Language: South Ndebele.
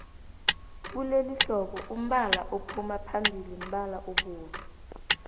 kulelihlobo umbala ophuma phambili mbala obovu